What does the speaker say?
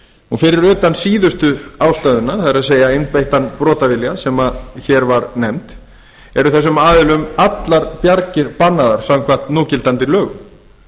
brotavilja fyrir utan síðustu ástæðuna sem hér var nefnd það er einbeittan brotavilja eru þessum aðilum allar bjargir bannaðar samkvæmt núgildandi lögum